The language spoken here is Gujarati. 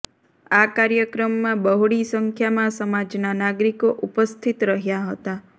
આ કાર્યક્રમમાં બહોળી સંખ્યામાં સમાજના નાગરીકો ઉપસ્થિત રહ્યા હતાં